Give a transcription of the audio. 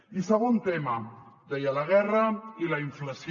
i segon tema deia la guerra i la inflació